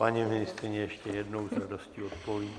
Paní ministryně ještě jednou s radostí odpoví.